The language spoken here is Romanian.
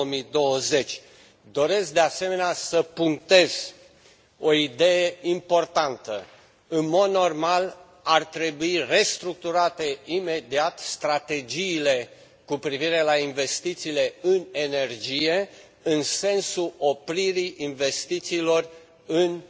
2020. Doresc, de asemenea, să punctez o idee importantă în mod normal, ar trebui restructurate imediat strategiile cu privire la investițiile în energie, în sensul opririi investițiilor în